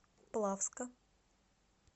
плавска